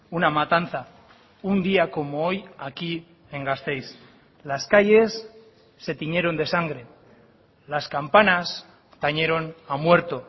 una matanza un día como hoy aquí en gasteiz las calles se tiñeron de sangre las campanas tañeron a muerto